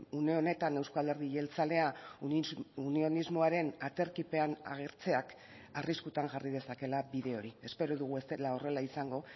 une honetan euzko alderdi jeltzalea unionismoaren aterkipean agertzeak arriskutan jarri dezakeela bide hori espero dugu ez dela horrela izango